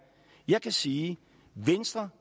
jeg kan sige at venstre